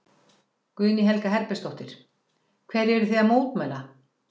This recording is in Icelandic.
Guðný Helga Herbertsdóttir: Hverju eruð þið að mótmæla?